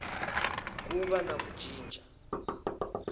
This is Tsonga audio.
ku va na ku cinca